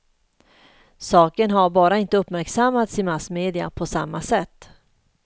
Saken har bara inte uppmärksammats i massmedia på samma sätt.